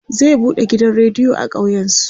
zai buɗe gidan rediyo a ƙauyen su